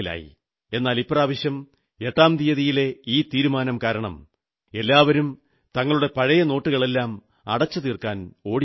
എന്നാൽ ഇപ്രാവശ്യം എട്ടാം തീയതിയിലെ ഈ തീരുമാനം കാരണം എല്ലാവരും തങ്ങളുടെ പഴയ നോട്ടുകളെല്ലാം അടച്ചുതീർക്കാൻ ഓടിയെത്തി